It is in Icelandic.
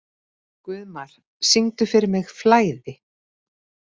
Guðmar, syngdu fyrir mig „Flæði“.